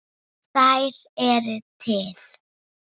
Þær eru til.